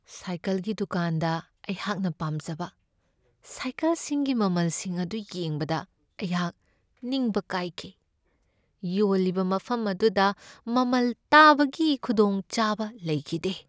ꯁꯥꯏꯀꯜꯒꯤ ꯗꯨꯀꯥꯟꯗ ꯑꯩꯍꯥꯛꯅ ꯄꯥꯝꯖꯕ ꯁꯏꯀꯜꯁꯤꯡꯒꯤ ꯃꯃꯜꯁꯤꯡ ꯑꯗꯨ ꯌꯦꯡꯕꯗ ꯑꯩꯍꯥꯛ ꯅꯤꯡꯕ ꯀꯥꯏꯈꯤ ꯫ ꯌꯣꯜꯂꯤꯕ ꯃꯐꯝ ꯑꯗꯨꯗ ꯃꯃꯜ ꯇꯥꯕꯒꯤ ꯈꯨꯗꯣꯡꯆꯥꯕ ꯂꯩꯈꯤꯗꯦ ꯫